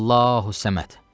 Allahu səməd.